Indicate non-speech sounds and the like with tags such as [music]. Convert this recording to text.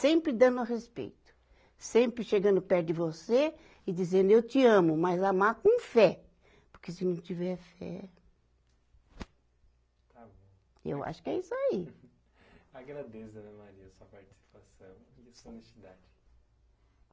Sempre dando respeito, sempre chegando perto de você e dizendo eu te amo, mas amar com fé, porque se não tiver fé. Está bom. Eu acho que é isso aí. [laughs] Agradeço, dona Maria a sua participação e a sua honestidade.